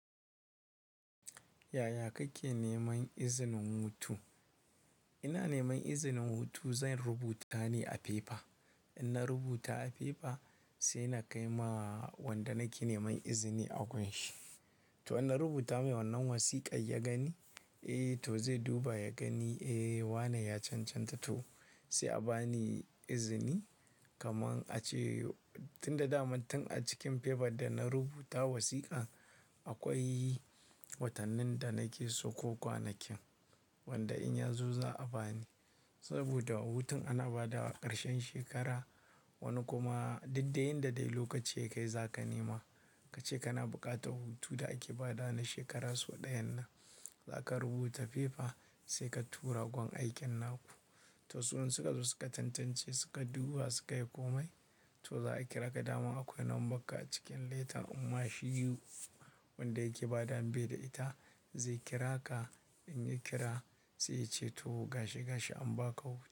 Yaya kake neman izinin hutu? Ina neman izinin hutu zan rubuta ne a fefa. In na rubuta a fefa sai na kai ma wanda nake neman izini a gun shi. To in na rubuta mai wannan wasiƙar ya gani, eh to zai duba ya gani eh wane ya cancanta to sai a ba ni izini. Kaman a ce tun da dama tun a cikin fefar da na rubuta wasiƙar akwai watannin da nake so ko kwanakin wanda in ya zo za a ba ni. Saboda hutun ana ba da ƙarshen shekara. Wani kuma duk dai inda dai lokaci ya kai za ka nema kace kana buƙatar hutu da ake ba da na shekara so ɗayan nan. Za ka rubuta fefa sai ka tura gun aikin naku. To su in suka zo suka tantance suka duba suka yi komai to za a kira ka dama akwai numbar ka a cikin letan amma shi wanda yake badawa baida ita zai kira ka. In ya kira sai ya ce to gashi gashi an ba ka hutu.